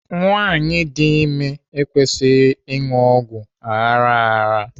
Nwaanyi dị ime ekwesịghị ịṅụ ọgwụ aghara aghara.